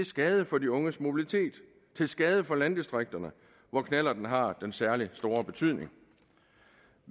skade for de unges mobilitet til skade for landdistrikterne hvor knallerten har den særlig store betydning